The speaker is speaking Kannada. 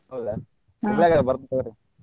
ಹೌದಾ Hubli ಯಾಗ ಬರ್ತೆವ್ ರೀ.